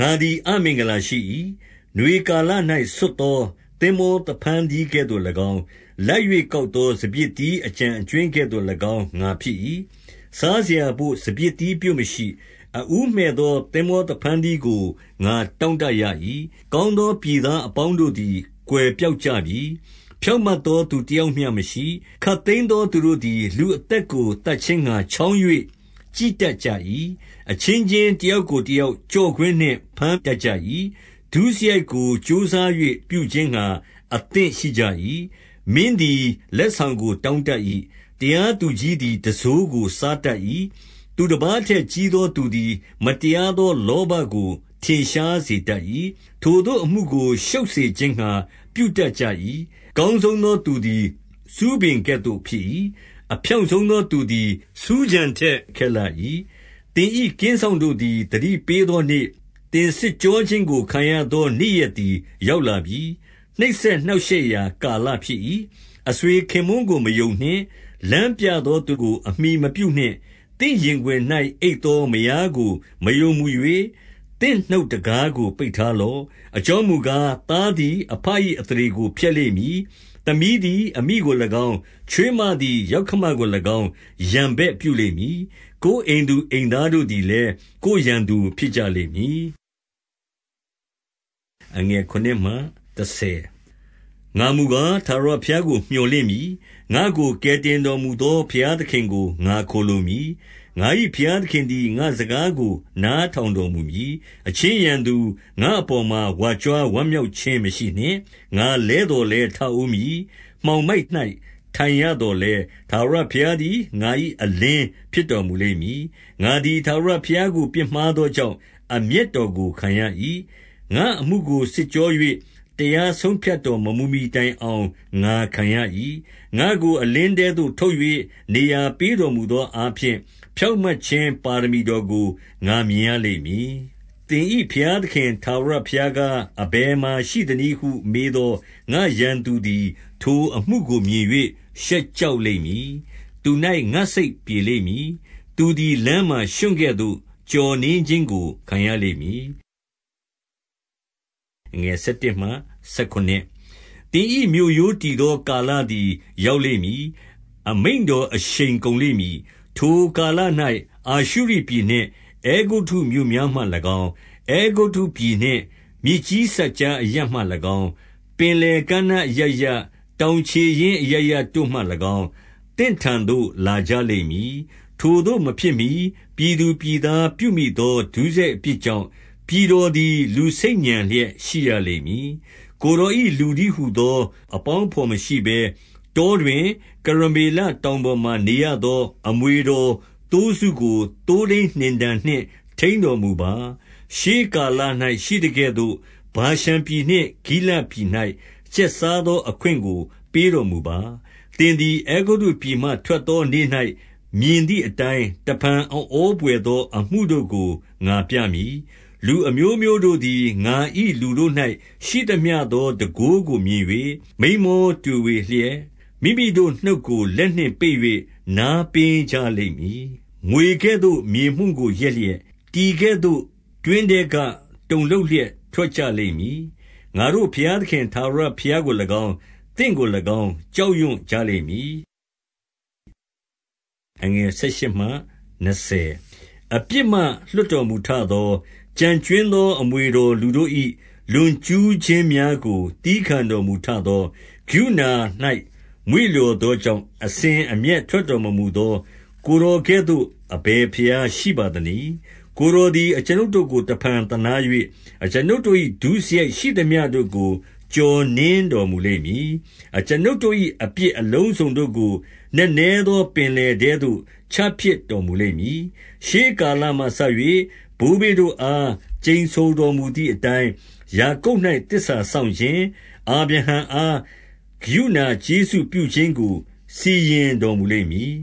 ငါသည် အမင်္ဂလာရှိ၏။ နွေကာလ၌ ဆွတ်သော သင်္ဘောသဖန်းသီးကဲ့သို့၎င်း၊ လိုက်၍ ကောက်သော စပျစ်သီး အကျန်အကြွင်းကဲ့သို့၎င်း ငါဖြစ်၏။ စားစရာ ဘို့ စပျစ်သီးပြွတ်မရှိ။ အဦးမှည့်သော သင်္ဘောသဖန်းသီး ကို ငါတောင့်တရ၏။ 2 ကောင်းသော ပြည်သားအပေါင်းတို့သည် ကွယ် ပျောက်ကြပြီ။ ဖြောင့်မတ်သော သူတယောက်မျှမရှိ။ ခပ်သိမ်းသော သူတို့သည် လူအသက်ကို သတ်ခြင်းငှါ ချောင်း၍ ကြည့်တတ်ကြ၏။ အချင်းချင်း တယောက်ကို တယောက် ကျော့ကွင်းနှင့်ဘမ်းတတ်ကြ၏။ 3 ဒုစရိုက်ကို ကြိုးစား၍ပြုခြင်းငှါ အသင့်ရှိကြ၏။ မင်းသည် လက်ဆောင်ကို တောင်းတတ်၏။ တရားသူကြီး သည် တံစိုးကို စားတတ်၏။ သူတပါးထက်ကြီးသော သူ သည် မတရားသော လောဘကို ထင်ရှားစေတတ်၏။ ထိုသို့အမှုကို ရှုပ်စေခြင်းငှါ ပြုတတ်ကြ၏။ 4 အကောင်းဆုံးသော သူသည် ဆူးပင်ကဲ့သို့ ဖြစ် ၏။ အဖြောင့်ဆုံးသော သူသည် ဆူးခြံထက် ခက်လှ၏။သင်၏ကင်းစောင့်တို့သည် သတိပေးသောနေ့၊ သင်စစ် ကြောခြင်းကို ခံရသောနေ့ရက်သည် ရောက်လာပြီ။ နှိပ် စက်နှောင့်ရှက်ရာကာလဖြစ်၏။ 5 အဆွေခင်ပွန်းကို မယုံနှင့်။ လမ်းပြသော သူကို အမှီမပြုနှင့်။ သင့်ရင်ခွင်၌ အိပ်သော မယားကို မယုံမူ၍၊ သင့်နှုတ်တံခါးကို ပိတ်ထားလော့။ 6 အကြောင်းမူကား၊ သားသည် အဘ၏အသရေ ကို ဖျက်လိမ့်မည်။ သမီးသည် အမိကို၎င်း၊ ချွေးမသည် ယောက္ခမကို၎င်း ရန်ဘက်ပြုလိမ့်မည်။ ကိုယ်အိမ်သူ အိမ် သားတို့သည်လည်း ကိုယ်ရန်သူဖြစ်ကြလိမ့်မည်။ 7 ငါမူကား၊ ထာဝရဘုရားကို မြော်လင့်မည်။ ငါ့ကို ကယ်တင်တော်မူသော ဘုရားသခင်ကို ငါခိုလှုံမည်။ ငါ၏ဘုရားသခင်သည် ငါ့စကားကို နားထောင်တော် မူမည်။ 8 အချင်းရန်သူ၊ ငါ့အပေါ်မှာ ဝါကြွားဝမ်းမြောက် ခြင်း မရှိနှင့်။ ငါလဲသော်လည်း ထဦးမည်။ မှောင်မိုက်၌ ထိုင်ရသော်လည်း၊ ထာဝရဘုရားသည် ငါ၏အလင်းဖြစ် တော်မူလိမ့်မည်။ 9 ငါသည် ထာဝရဘုရားကို ပြစ်မှားသောကြောင့်၊ အမျက်တော်ကို ခံရ၏။ ငါ့အမှုကို စစ်ကြော၍ တရားဆုံး ဖြတ်တော်မမူမှီတိုင်အောင် ငါခံရ၏။ ငါ့ကို အလင်းထဲသို့ ထုတ်၍ နေရာပေးတော်မူသောအားဖြင့် ဖြောင့်မတ်ခြင်း ပါရမီတော်ကို ငါမြင်ရလိမ့်မည်။ 10 သင်၏ဘုရားဘုရားသခင်ထာဝရဘုရားကား၊ အဘယ်မှာရှိသနည်းဟု မေးသော ငါ့ရန်သူသည် ထိုအမှု ကို မြင်၍ ရှက်ကြောက်လိမ့်မည်။ သူ၌ငါ့စိတ်ပြေလိမ့် မည်။ သူသည် လမ်းမှာ ရွံ့ကဲ့သို့ ကျော်နင်းခြင်းကို ခံရ လိမ့်မည်။ 11 သင်၏မြို့ရိုးတည်သောကာလသည် ရောက်လိမ့် မည်။ အမိန့်တော်အရှိန်ကုန်လိမ့်မည်။ 12 ထိုကာလ၌ အာရှုရိပြည်နှင့် အဲဂုတ္တုမြို့များမှ၎င်း၊ အဲဂုတ္တုပြည်နှင့် မြစ်ကြီးစပ်ကြားအရပ်မှ၎င်း၊ ပင်လယ်ကမ်းနားအရပ်ရပ်၊ တောင်ခြေရင်းအရပ်ရပ်တို့ မှ၎င်း၊ သင့်ထံသို့ လာကြလိမ့်မည်။ 13 ထိုသို့ မဖြစ်မှီ ပြည်သူပြည်သားပြုမိသော ဒုစ ရိုက်အပြစ်ကြောင့် ပြည်တော်သည် လူဆိတ်ညံလျက် ရှိရလိမ့်မည်။ 14 ကိုယ်တော်၏လူတည်းဟူသော အပေါင်း အဘော်မရှိဘဲ၊ တောတွင် ကရမေလတောင်ပေါ်မှာ နေရ သော အမွေတော်သိုးစုကို သိုးထိန်းနှင်တံနှင့် ထိန်းတော် မူပါ။ ရှေးကာလ၌ ရှိသကဲ့သို့၊ ဗာရှန်ပြည်နှင့် ဂိလဒ်ပြည် ၌ ကျက်စားသော အခွင့်ကို ပေးတော်မူပါ။ 15 သင်သည် အဲဂုတ္တုပြည်မှ ထွက်သောနေ့၌ မြင် သည်အတိုင်း၊ တဖန်အံ့ဩဘွယ်သော အမှုတို့ကို ငါပြ မည်။ 16 လူအမျိုးမျိုးတို့သည် ငါ၏လူတို့၌ရှိသမျှသော တန်ခိုးကိုမြင်၍ မိန်းမောတွေဝေလျက်၊ မိမိတို့နှုတ်ကို လက်နှင့်ပိတ်၍ နားပင်းကြလိမ့်မည်။ 17 မြွေကဲ့သို့ မြေမှုန့်ကိုလျက်၍၊ တီကဲ့သို့တွင် ထဲက တုန်လှုပ်လျက် ထွက်ကြလိမ့်မည်။ ငါတို့ဘုရားသခင် ထာဝရဘုရားကို၎င်း၊ သင့်ကို၎င်း ကြောက်ရွံ့ကြလိမ့်မည်။ 18 အပြစ်မှလွှတ်တော်မူထသော၊ ကျန်ကြွင်းသော အမွေတော်လူတို့၏ လွန်ကျူးခြင်းများကို သည်းခံတော် မူထသော၊ ကရုဏာ၌ မွေ့လျော်သောကြောင့် အစဉ် အမျက်ထွက်တော်မမူသော ကိုယ်တော်ကဲ့သို့ အဘယ် ဘုရားရှိပါသနည်း။ 19 ကိုယ်တော်သည် အကျွန်ုပ်တို့ကို တဖန်သနား၍၊ အကျွန်ုပ်တို့၏ ဒုစရိုက်ရှိသမျှတို့ကို ကျော်နင်းတော်မူလိမ့် မည်။ အကျွန်ုပ်တို့၏ အပြစ်အလုံးစုံတို့ကို နက်နဲသော ပင်လယ်ထဲသို့ ချပစ်တော်မူလိမ့်မည်။ 20 ရှေးကာလမှစ၍ ဘိုးဘေးတို့အား ကျိန်ဆိုတော် မူသည်အတိုင်း၊ ယာကုပ်၌ သစ္စာစောင့်ခြင်း၊ အာဗြဟံ အား ကရုဏာကျေးဇူးပြုခြင်းကို စီရင်တော်မူလိမ့်မည်